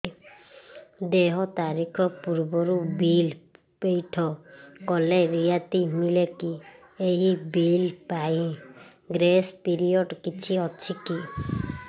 ଦେୟ ତାରିଖ ପୂର୍ବରୁ ବିଲ୍ ପୈଠ କଲେ ରିହାତି ମିଲେକି ଏହି ବିଲ୍ ପାଇଁ ଗ୍ରେସ୍ ପିରିୟଡ଼ କିଛି ଅଛିକି